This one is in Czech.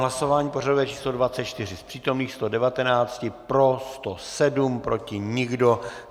Hlasování pořadové číslo 24: z přítomných 119 pro 107, proti nikdo.